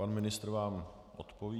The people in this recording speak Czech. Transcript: Pan ministr vám odpoví.